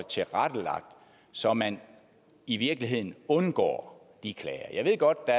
tilrettelagt så man i virkeligheden undgår de klager jeg ved godt at